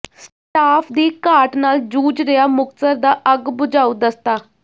staff ਦੀ ਘਾਟ ਨਾਲ ਜੂਝ ਰਿਹਾ ਮੁਕਤਸਰ ਦਾ ਅੱਗ ਬੁਝਾਊ ਦਸਤਾ